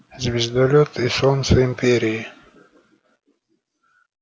звездолёт и солнце империи